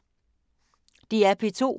DR P2